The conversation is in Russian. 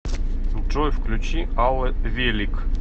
джой включи алла велик